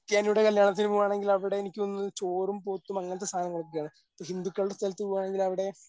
ക്രിസ്ത്യാനിയുടെ കല്യാണത്തിന് പോവുകയാണെങ്കിൽ അവിടെ എനിക്ക് തോന്നുന്നത് ചോറും പോത്തും അങ്ങനത്തെ സാധനങ്ങൾ ഒക്കെയാണ്. ഹിന്ദുക്കളുടെ സ്ഥലത്ത് പോവുകയാണെങ്കിൽ അവിടെ